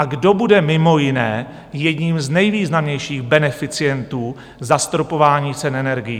A kdo bude mimo jiné jedním z nejvýznamnějších beneficientů zastropování cen energií?